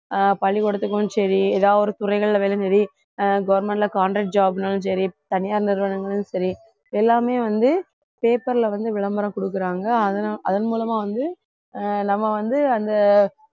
ஆஹ் பள்ளிக்கூடத்துக்கும் சரி எதாவது ஒரு துறைகள்ல ஆஹ் government ல contract job னாலும் சரி தனியார் நிறுவனங்களும் சரி எல்லாமே வந்து paper ல வந்து விளம்பரம் குடுக்கறாங்க அதனால அதன் மூலமா வந்து அஹ் நம்ம வந்து அந்த